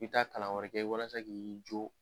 I bi taa kalan wɛrɛ kɛ walasa k'i jo